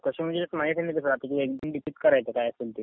कस म्हणजे एनसीडीसीत करायचं काय असल ते.